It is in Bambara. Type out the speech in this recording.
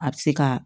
A bɛ se ka